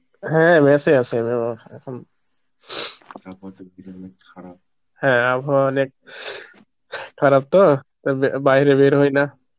হ্যাঁ mess এ ই আছি আমি আমার, হ্যাঁ আবহাওয়া অনেক খারাপ তো তা বা~ বাইরে বের হইনা